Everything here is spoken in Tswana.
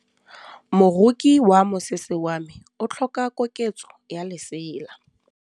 Moroki wa mosese wa me o tlhoka koketsô ya lesela.